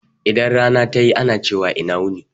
Idan rana ta yi ana cewa ina wuni.